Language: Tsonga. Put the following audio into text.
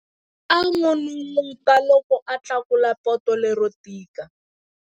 A n'unun'uta loko a tlakula poto lero tika.